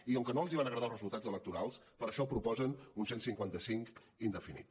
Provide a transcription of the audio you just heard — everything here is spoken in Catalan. i com que no els van agradar els resultats electorals per això proposen un cent i cinquanta cinc indefinit